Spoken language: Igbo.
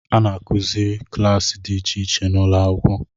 A na-akụzi kilasi di icheiche n’ụlọakwụkwọ